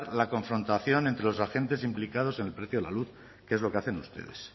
la confrontación entre los agentes implicados en el precio de la luz que es lo que hacen ustedes